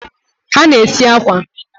ha na-esi akwa.